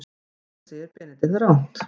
Þetta segir Benedikt rangt.